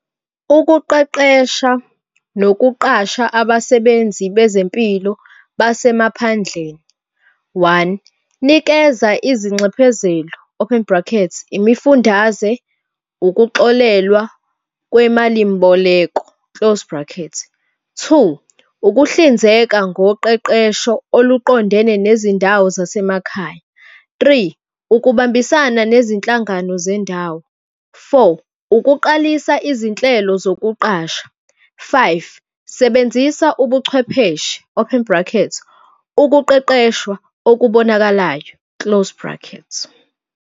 Ukuqeqesha nokuqasha abasebenzi bezempilo basemaphandleni, one, nikeza izinxephezelo, open bracket, imifundaze ukuxolelwa kwemalimboleko, close bracket. Two, ukuhlinzeka ngoqeqesho oluqondene nezindawo zasemakhaya. Three, ukubambisana nezinhlangano zendawo. Four, ukuqalisa izinhlelo zokuqasha. Five, sebenzisa ubuchwepheshe, open bracket, ukuqeqeshwa okubonakalayo, close bracket.